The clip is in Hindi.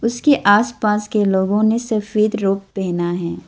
उसके आसपास के लोगों ने सफेद रोग पहना है।